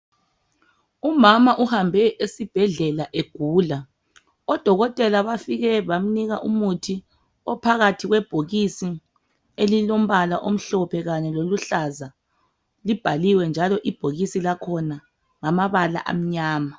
Umama uhambe esibhedlela egula. Odokotela bafike bamnika umuthi ophakathi kwebhokisi elilombala omhlophe kanye loluhlaza. Libhaliwe njalo ibhokisi lakhona ngamabala amnyama.